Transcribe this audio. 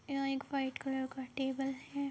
यहां एक white colour का टेबल है।